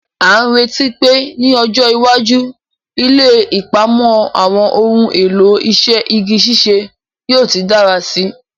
A n retí pe ni ọjọ́ iwájú, ilé ìpamọ́ àwọn ohun èlò iṣẹ́ igi ṣíṣe yóò ti dára síi.